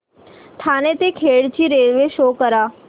ठाणे ते खेड ची railway show करा